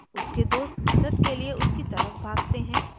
उसके दोस्त मदद के लिए उसकी तरफ भागते हैं